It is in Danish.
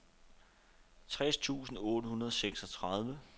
tres tusind otte hundrede og seksogtredive